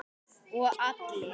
Og allir.